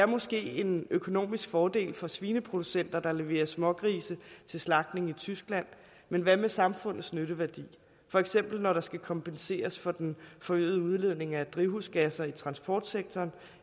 måske en økonomisk fordel for svineproducenter der leverer smågrise til slagtning i tyskland men hvad med samfundets nytteværdi for eksempel når der skal kompenseres for den forøgede udledning af drivhusgasser i transportsektoren